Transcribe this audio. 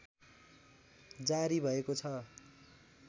जारी भएको छ